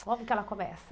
Como que ela começa?